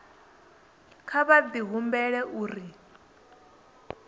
nga kha di humbela uri